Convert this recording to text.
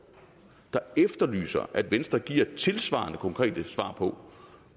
der efterlyser at venstre giver tilsvarende konkrete svar på